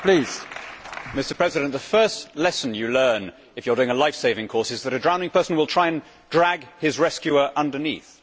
Mr President, the first lesson you learn if you are doing a lifesaving course is that a drowning person will try to drag his rescuer underneath.